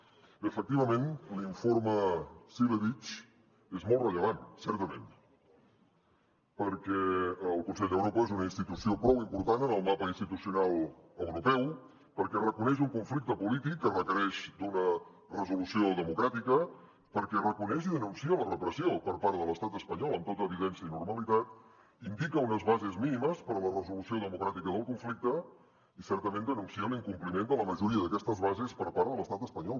bé efectivament l’informe cilevics és molt rellevant certament perquè el consell d’europa és una institució prou important en el mapa institucional europeu perquè reconeix un conflicte polític que requereix una resolució democràtica perquè reconeix i denuncia la repressió per part de l’estat espanyol amb tota evidència i normalitat indica unes bases mínimes per a la resolució democràtica del conflicte i certament denuncia l’incompliment de la majoria d’aquestes bases per part de l’estat espanyol